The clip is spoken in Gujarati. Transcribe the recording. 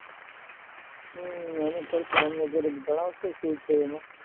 હમ અમે કરશું. અમને જરીક જણાવશો શું છે એમાં?